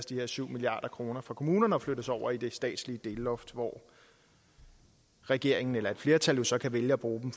de her syv milliard kroner fra kommunerne og flyttes over i det statslige delloft hvor regeringen eller et flertal så kan vælge at bruge dem